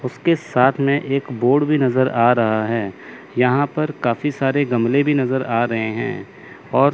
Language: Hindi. उसके साथ मे एक बोर्ड भी नजर आ रहा है यहां पर काफी सारे गमले भी नजर आ रहे हैं और--